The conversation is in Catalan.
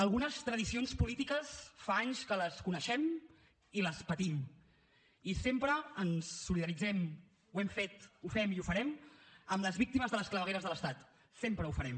algunes tradicions polítiques fa anys que les coneixem i les patim i sempre ens solidaritzem ho hem fet ho fem i ho farem amb les víctimes de les clavegueres de l’estat sempre ho farem